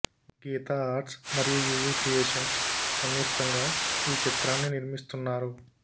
గీత arts మరియు U V creations సంయుక్తంగా ఈ చిత్రాన్ని నిర్మిస్తున్నారు